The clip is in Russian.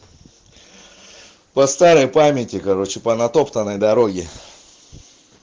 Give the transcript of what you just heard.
по старой памяти короче по натоптанной дороге